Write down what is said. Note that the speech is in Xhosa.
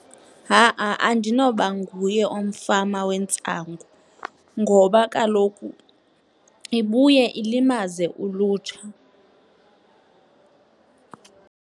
Ha-a, andinoba nguye umfama wentsangu ngoba kaloku ibuye ilimaze ulutsha.